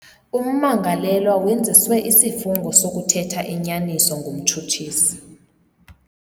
Ummangalelwa wenziswe isifungo sokuthetha inyaniso ngumtshutshisi.